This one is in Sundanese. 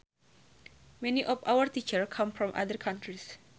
Many of our teachers come from other countries